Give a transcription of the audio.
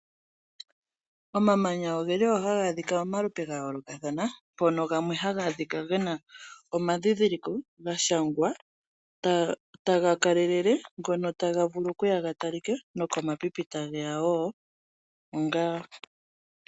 Omamanya oge li wo haga adhika momalupe ga yoolokathana mpono gamwe haga adhika gena omadhidhiliko ga shangwa taga kalelele ngono taga vulu okuya ga talike nokomapipi tage ya wo.